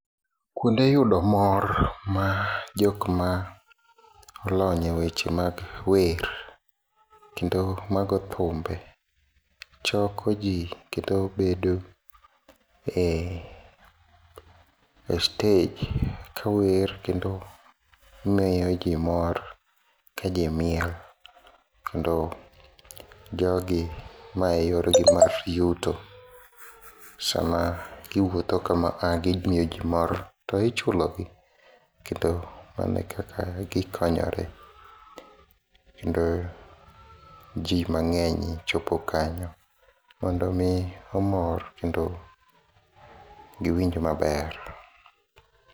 Kuonde yudo mor majok maolony e weche mag wer kendo mago thimbe chioko jii kendo bedo e stage kawer kendo miyo jii mor kajimiel kendo jogi maeyorgi mar yuto sama giwuotho kama gimiyo jii mor tichulogi kendo manekaka gikonyore kendo jii mangeny chopo kanyo mondo mii omor kendo giwinj maber